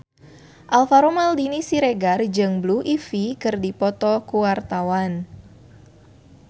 Alvaro Maldini Siregar jeung Blue Ivy keur dipoto ku wartawan